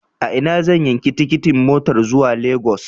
A ina zan yanki tikitin motar zuwa Lagos?